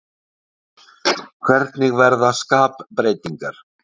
Hvernig verða skapbreytingar?